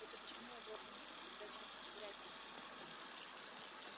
это почему я должен в тебя чем-то швырять спросил он